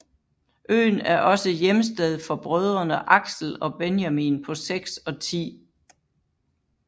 Øen er også hjemsted for brødrene Axel og Benjamin på 6 og 10